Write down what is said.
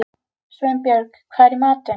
Sveinbjörg, hvað er í matinn?